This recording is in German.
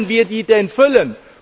Wie wollen wir die denn füllen?